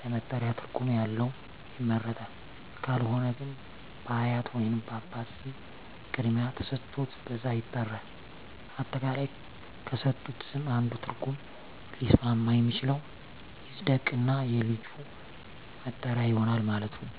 ለመጠሪያ ትርጉም ያለው ይመረጣል ካልሆነ ግን በአያት ወይንም በአባት ስም ቅድሚያ ተሠጥቶት በዛ ይጠራል። አጠቃላይ ከተሠጡት ስም አንዱ ትርጉም ሊስማማ የሚችለው ይፀድቅ እና የልጁ መጠሪያ ይሆናል ማለት ነው።